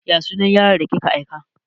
Ya sunan yaron da kika aika?